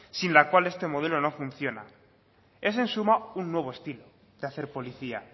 sin la cual este modelo no funciona es en suma un nuevo estilo de hacer policía